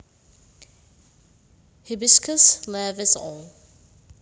Hibiscus laevis All